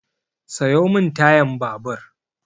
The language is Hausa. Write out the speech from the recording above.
Sayo min tayan babur!